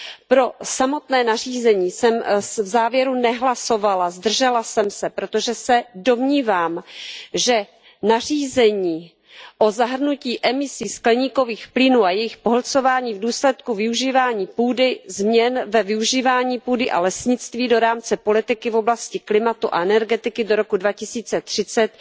Pro samotné nařízení jsem v závěru nehlasovala, zdržela jsem se, protože se domnívám, že nařízení o zahrnutí emisí skleníkových plynů a jejich pohlcování v důsledku využívání půdy, změn ve využívání půdy a lesnictví do rámce politiky v oblasti klimatu a energetiky do roku 2030